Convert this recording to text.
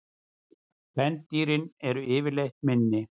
Kvendýrin eru yfirleitt minni.